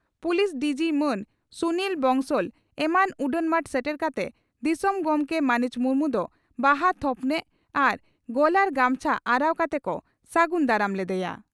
Police DG ᱢᱟᱱ ᱥᱩᱱᱤᱞ ᱵᱚᱝᱥᱚᱞ ᱮᱢᱟᱱ ᱩᱰᱟᱹᱱ ᱢᱟᱴ ᱥᱮᱴᱮᱨ ᱠᱟᱛᱮ ᱫᱤᱥᱚᱢ ᱜᱚᱢᱠᱮ ᱢᱟᱹᱱᱤᱡ ᱢᱩᱨᱢᱩ ᱫᱚ ᱵᱟᱦᱟ ᱛᱷᱚᱯᱱᱟᱜ ᱟᱨ ᱜᱚᱞᱟᱨ ᱜᱟᱢᱪᱷᱟ ᱟᱨᱟᱣ ᱠᱟᱛᱮ ᱠᱚ ᱥᱟᱹᱜᱩᱱ ᱫᱟᱨᱟᱢ ᱞᱮᱫᱮᱭᱟ ᱾